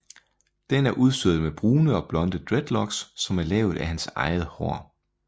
Den er udstyret med brune og blonde dreadlocks som er lavet af hans eget hår